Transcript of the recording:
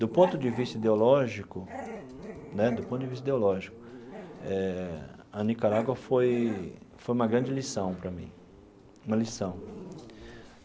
Do ponto de vista ideológico né do ponto de vista ideológico eh, a Nicarágua foi foi uma grande lição para mim uma lição.